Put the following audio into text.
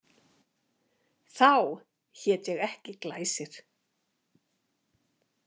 Þá hét ég ekki Glæsir.